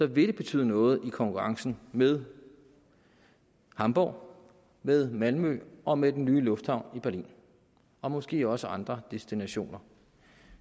vil det betyde noget i konkurrencen med hamborg med malmø og med den nye lufthavn i berlin og måske også andre destinationer